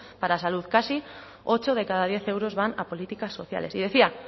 para salud casi ocho de cada diez euros van a políticas sociales y decía